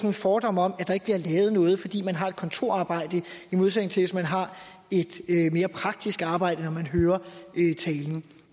en fordom om at der ikke bliver lavet noget fordi man har et kontorarbejde i modsætning til hvis man har et mere praktisk arbejde